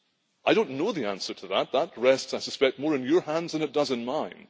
I do not know the answer to that. That rests, I suspect, more in your hands than it does in mine.